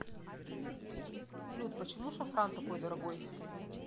салют почему шафран такой дорогой